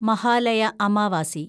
Mahalaya Amavasya